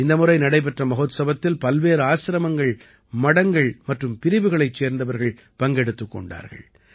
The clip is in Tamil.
இந்த முறை நடைபெற்ற மஹோத்சவத்தில் பல்வேறு ஆசிரமங்கள் மடங்கள் மற்றும் பிரிவுகளைச் சேர்ந்தவர்கள் பங்கெடுத்துக் கொண்டார்கள்